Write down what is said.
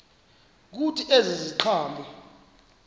kuthi ezi ziqhamo